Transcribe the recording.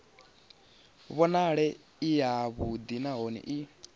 vhonale i yavhuḓi nahone i